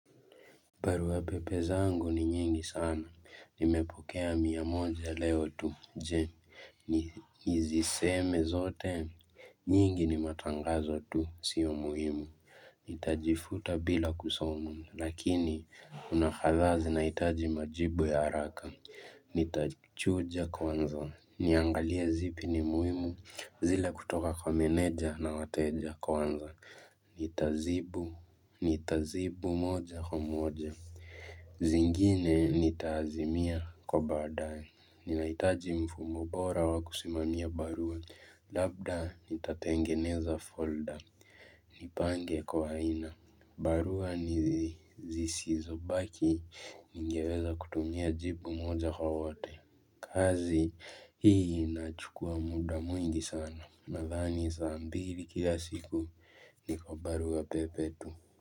Barua pepe zangu ni nyingi sana, nimepokea miamoja leo tu, je, niziseme zote, nyingi ni matangazo tu, sio muhimu, nitajifuta bila kusomu, lakini, kuna kadhaa zinaitaji majibu ya haraka, nitachuja kwanza, niangalie zipi ni muhimu, zile kutoka kwa menedja na wateja kwanza, ni tazibu moja kwa moja zingine nitaazimia kwa baadae ni naitaji mfumo bora wa kusimamia barua Labda nita tengeneza folder Nipange kwa aina barua ni zisizo baki Ningeweza kutumia jibu moja kwa wote kazi hii nachukua muda mwingi sana Nathani saa mbili kila siku ni kwa barua pepe tu.